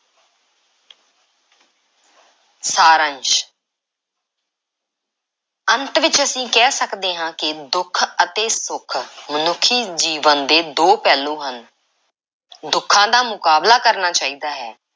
ਸਾਰੰਸ਼ ਅੰਤ ਵਿੱਚ ਅਸੀਂ ਕਹਿ ਸਕਦੇ ਹਾਂ ਕਿ ਦੁੱਖ ਅਤੇ ਸੁੱਖ ਮਨੁੱਖੀ ਜੀਵਨ ਦੇ ਦੋ ਪਹਿਲੂ ਹਨ। ਦੁੱਖਾਂ ਦਾ ਮੁਕਾਬਲਾ ਕਰਨਾ ਚਾਹੀਦਾ ਹੈ,